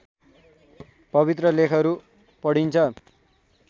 पवित्र लेखहरू पढिन्छन्